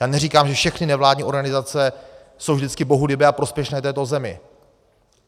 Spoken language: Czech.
Já neříkám, že všechny nevládní organizace jsou vždycky bohulibé a prospěšné této zemi.